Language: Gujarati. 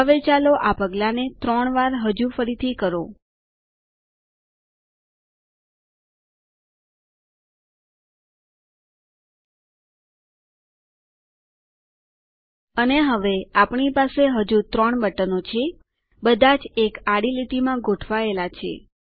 હવે ચાલો આ પગલાંને ત્રણ વાર હજુ ફરીથી કરો ltઅટકોgt અને હવે આપણી પાસે હજુ ત્રણ બટનો છે બધા જ એક આડી લીટીમાં ગોઠવાયેલા છે